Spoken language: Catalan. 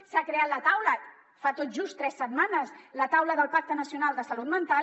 s’ha creat la taula fa tot just tres setmanes la taula del pacte nacional de salut mental